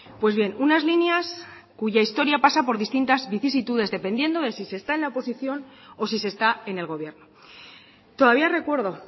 pues bien unas líneas cuya historia pasa por distintas vicisitudes dependiendo de si se está en la oposición o si se está en el gobierno todavía recuerdo